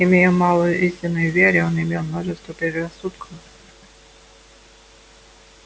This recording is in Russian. имея мало истинной веры он имел множество предрассудков